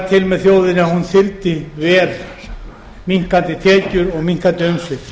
til með þjóðinni að hún þyldi verr minnkandi tekjur og minnkandi umsvif